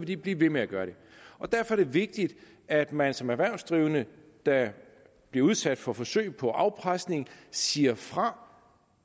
vil de blive ved med at gøre det derfor er det vigtigt at man som erhvervsdrivende der bliver udsat for forsøg på afpresning siger fra